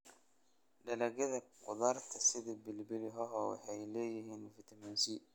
Dalagyada khudradda sida pilipili hoho waxay leeyihiin fiitamiin C.